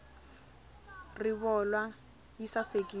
rivolwa yi sasekile